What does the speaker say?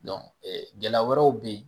gɛlɛya wɛrɛw bɛ yen